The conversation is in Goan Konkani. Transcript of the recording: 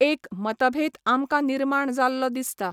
एक मतभेद आमकां निर्माण जाल्लो दिसता.